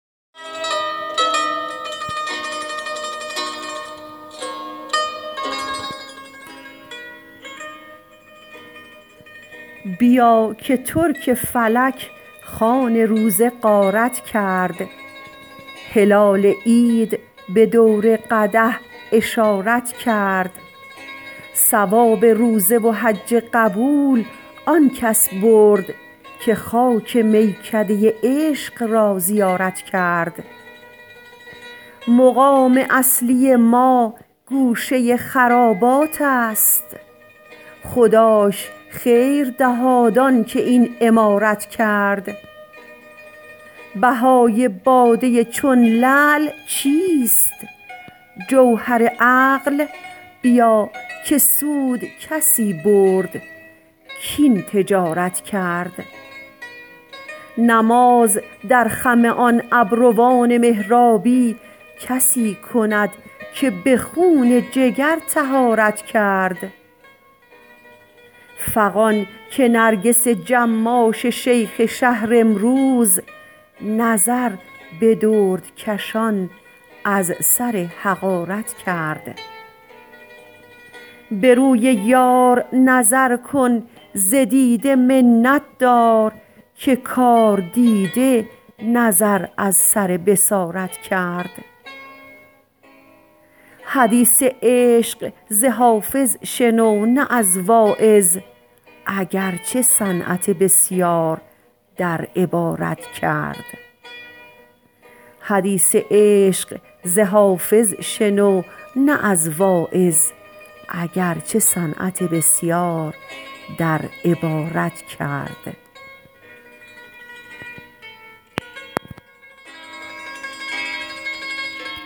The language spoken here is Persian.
بیا که ترک فلک خوان روزه غارت کرد هلال عید به دور قدح اشارت کرد ثواب روزه و حج قبول آن کس برد که خاک میکده عشق را زیارت کرد مقام اصلی ما گوشه خرابات است خداش خیر دهاد آن که این عمارت کرد بهای باده چون لعل چیست جوهر عقل بیا که سود کسی برد کاین تجارت کرد نماز در خم آن ابروان محرابی کسی کند که به خون جگر طهارت کرد فغان که نرگس جماش شیخ شهر امروز نظر به دردکشان از سر حقارت کرد به روی یار نظر کن ز دیده منت دار که کاردیده نظر از سر بصارت کرد حدیث عشق ز حافظ شنو نه از واعظ اگر چه صنعت بسیار در عبارت کرد